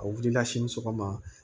A wulila se ni sɔgɔma